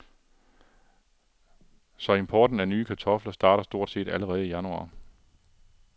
Så importen af nye kartofler starter stort set allerede i januar.